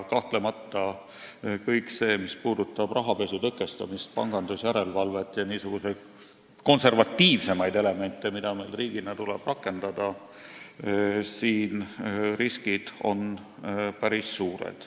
Kahtlemata, kõige selle puhul, mis puudutab rahapesu tõkestamist, pangandusjärelevalvet ja niisuguseid konservatiivsemaid elemente, mida meil riigina tuleb rakendada, on riskid päris suured.